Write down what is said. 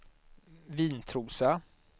Vintrosa